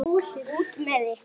Út með ykkur.